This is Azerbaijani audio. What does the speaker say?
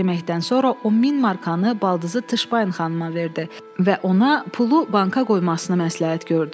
Yeməkdən sonra o min markanı baldızı Tışbain xanıma verdi və ona pulu banka qoymasını məsləhət gördü.